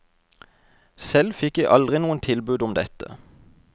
Selv fikk jeg aldri noen tilbud om dette.